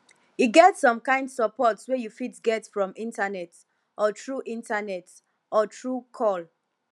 e get some kind support wey you fit get from internet or through internet or through call